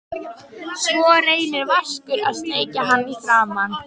Svo reynir Vaskur að sleikja hann í framan.